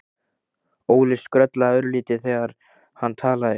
Óli skrollaði örlítið þegar hann talaði.